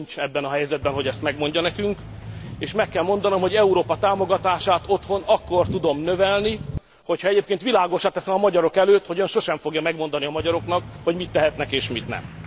Ön nincs abban a helyzetben, hogy ezt megmondja nekünk, és meg kell mondanom, hogy Európa támogatását otthon akkor tudom növelni, hogyha egyébként világossá teszem a magyarok előtt, hogy ön sosem fogja megmondani a magyaroknak, hogy mit tehetnek és mit nem.